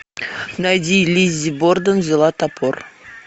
найди лиззи борден взяла топор